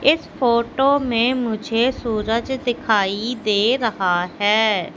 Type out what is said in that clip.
इस फोटो में मुझे सूरज दिखाई दे रहा है।